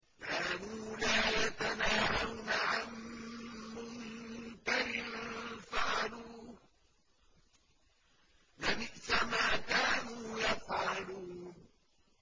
كَانُوا لَا يَتَنَاهَوْنَ عَن مُّنكَرٍ فَعَلُوهُ ۚ لَبِئْسَ مَا كَانُوا يَفْعَلُونَ